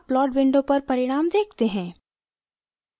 अब plot window पर परिणाम देखते हैं